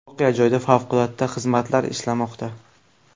Voqea joyida favqulodda xizmatlar ishlamoqda.